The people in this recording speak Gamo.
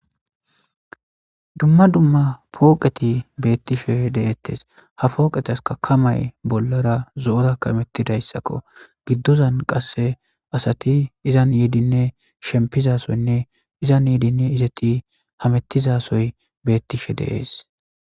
Dumma dumma pooqethi beeththishe de7eeththes; ha pooqethaskka kamay bolla ra zo7ora kameththizayssakoo; giddozan qassi asathi izan yiidinne shippizaa sohoynne iza yiidinne hameththiza sohoy beeththishe de7ees.